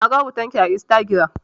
Na ga hoton ki a Instagiram.